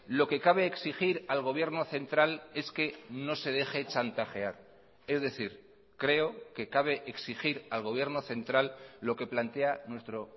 lo que cabe exigir al gobierno central es que no se deje chantajear es decir creo que cabe exigir al gobierno central lo que plantea nuestro